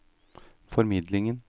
formidlingen